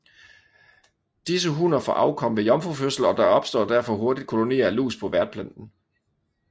Disse hunner får afkom ved jomfrufødsel og der opstår derfor hurtigt kolonier af lus på værtplanten